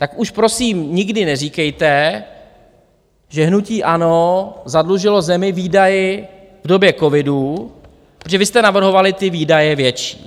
Tak už prosím nikdy neříkejte, že hnutí ANO zadlužilo zemi výdaji v době covidu, protože vy jste navrhovali ty výdaje větší.